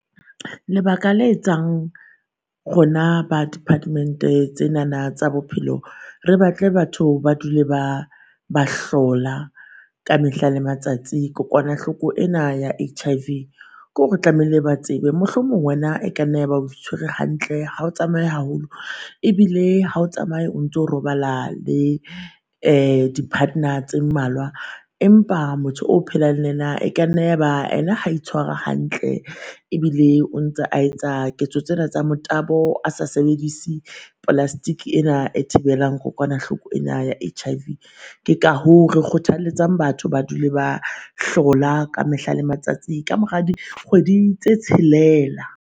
Lebaka le etsang rona ba department-e tsenana tsa bophelo re batle batho ba dule ba ba hlola ka mehla le matsatsi kokwanahloko ena ya HIV kore tlamehile ba tsebe. Mohlomong wena e ka nna ya ba o itshware hantle ha o tsamaye haholo ebile ha o tsamaye o ntso robala le uh di-partner tse mmalwa. Empa motho o phelang le yena e ka nne ya ba ena ha itshwara hantle, ebile o ntse a etsa ketso tsena tsa motabo, a sa sebedise plastic ena e thibelang kokoanahloko ena ya HIV. Ke ka hoo re kgothaletsang batho ba dule ba hlola ka mehla le matsatsi ka mora dikgwedi tse tshelela.